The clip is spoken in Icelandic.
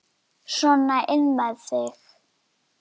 Þetta er sko engin skræpa.